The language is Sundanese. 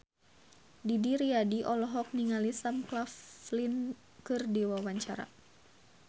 Didi Riyadi olohok ningali Sam Claflin keur diwawancara